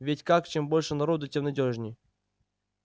ведь как чем больше народу тем надёжней